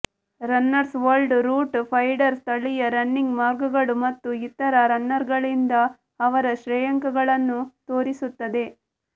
runners world route finder ಸ್ಥಳೀಯ running ಮಾರ್ಗಗಳು ಮತ್ತು ಇತರ ರನ್ನರ್ಗಳಿಂದ ಅವರ ಶ್ರೇಯಾಂಕಗಳನ್ನು ತೋರಿಸುತ್ತದೆ